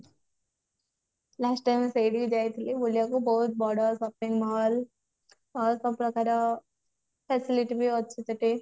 last time ସେଇଠିକି ଯାଇଥିଲି ବୁଲିବାକୁ ବହୁତ ବଡ shopping mall ବହୁତ ପ୍ରକାର facility ବି ଅଛିସେଠି